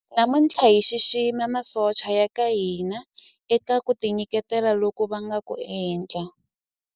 namuntlha hi xixima masocha ya ka hina eka ku tinyiketela loku va nga ku endla